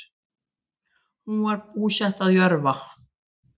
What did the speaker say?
Hún var búsett að Jörfa